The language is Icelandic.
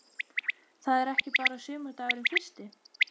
Það er ekki bara sumardagurinn fyrsti.